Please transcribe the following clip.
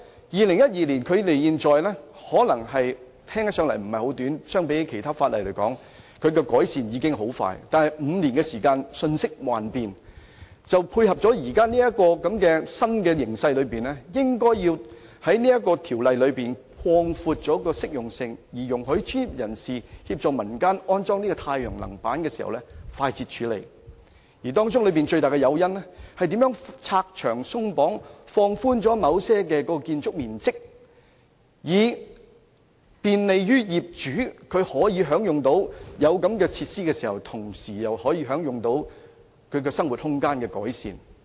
2012年至今，聽起來可能時間不算長，相比其他法例，這項規例已很快作出改善，但5年過去，世界瞬息萬變，為配合現有新形勢，政府應放寬這項《規例》的適用性，容許專業人士協助民間安裝太陽能板時可以快捷地處理，而最大的誘因是如何拆牆鬆綁，政府可以在某些情況下放寬建築面積，以利便業主，使他們既能享用有關設施，又可同時在生活空間得到改善。